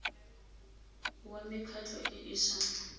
wa mekgatlho e e sa